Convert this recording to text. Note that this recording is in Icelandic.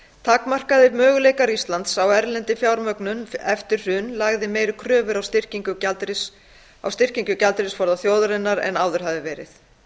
takmarkaðir möguleikar íslands á erlendri fjármögnun eftir hrun lagði meiri kröfur á styrkingu gjaldeyrisforða þjóðarinnar en áður hafði verið